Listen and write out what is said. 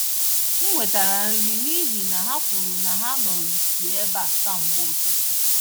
M wetara nri n’ihi na ha kwuru na ha nọrịsị ébéá kamgbe ụtụtụ